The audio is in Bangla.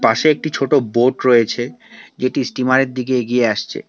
পাশে একটি ছোট বোট রয়েছে যেটি স্টিমারের দিকে এগিয়ে আসছে।